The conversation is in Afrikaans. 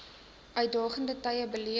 uitdagende tye beleef